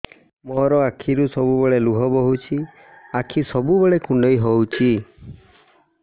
ମୋର ଆଖିରୁ ସବୁବେଳେ ଲୁହ ବୋହୁଛି ଆଖି ସବୁବେଳେ କୁଣ୍ଡେଇ ହଉଚି